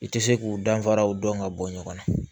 I tɛ se k'u danfaraw dɔn ka bɔ ɲɔgɔn na